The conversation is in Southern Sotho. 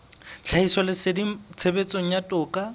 ya tlhahisoleseding tshebetsong ya toka